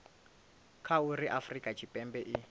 kha uri afurika tshipembe i